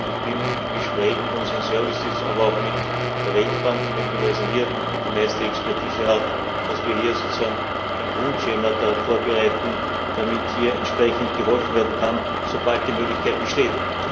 Ich bin im Gespräch mit unseren Diensten, aber auch mit der Weltbank, die möglicherweise hier die meiste Expertise hat, dass wir hier sozusagen ein Grundschema darauf vorbereiten, damit geholfen werden kann, sobald die Möglichkeit besteht.